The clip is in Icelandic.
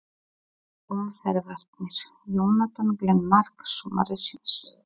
Mark umferðarinnar: Jonathan Glenn Mark sumarsins?